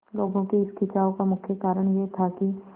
लोगों के इस खिंचाव का मुख्य कारण यह था कि